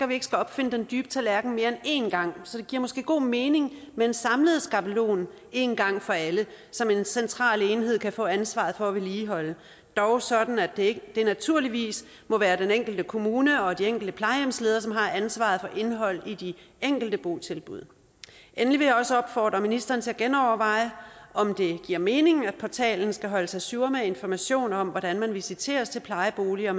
vi ikke skal opfinde den dybe tallerken mere end en gang så det giver måske god mening med en samlet skabelon en gang for alle som en central enhed kan få ansvaret for at vedligeholde dog sådan at det naturligvis må være den enkelte kommune og de enkelte plejehjemsledere som har ansvaret for indholdet i de enkelte botilbud endelig vil jeg også opfordre ministeren til at genoverveje om det giver mening at portalen skal holdes ajour med informationer om hvordan man visiteres til plejeboliger